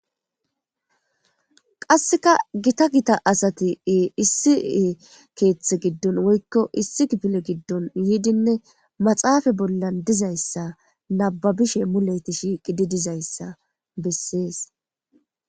Qasseka gita gita asatie issi keeththe giddon woykko issi gipile giddon yiidinne maxaafa bolla dizayssa nababishe muleti shiiqi di dizayssa bessees.